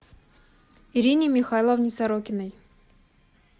ирине михайловне сорокиной